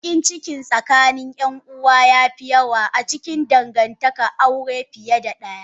Bakinciki tsakanin yanuwa yafi yawa acikin dangantakan aure fiye da daya.